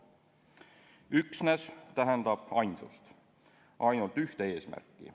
"Üksnes" tähendab ainsust, ainult ühte eesmärki.